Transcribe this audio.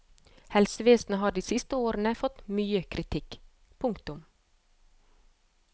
Helsevesenet har de siste årene fått mye kritikk. punktum